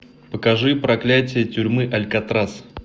покажи проклятие тюрьмы алькатрас